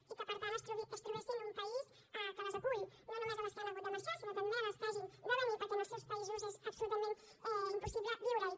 i que per tant es trobessin un país que les acull no només a les que han hagut de marxar sinó també a les que hagin de venir perquè en els seus països és absolutament impossible viure hi